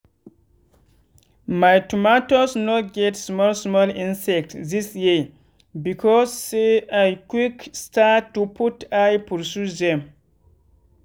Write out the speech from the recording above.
my tomatoes no get small small insects this year because say i quick start to put eye pursue them.